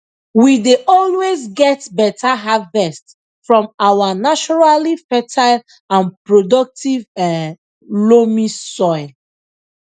we dey always get beta harvest from our naturally fertile and productive um loamy soil